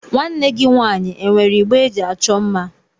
Nwanne gị nwaanyị e nwere igbe eji achọ mma?